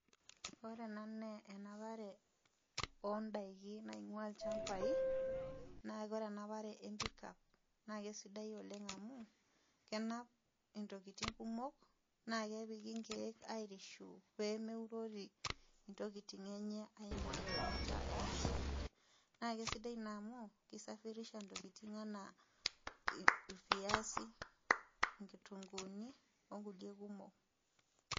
Ore ena naa enapare o ndaikin naing'ua ilchambai naa kore enapare empickup naa kesidai oleng' amu kenap ntokitin kumok naake epiki nkeek airishu pee meurori ntokitin enye aing'ua shumata ena gari. Naake sidai naa amu kisafirisha ntokitin enaa irviazi, nkitung'uuni o nkulie kumok.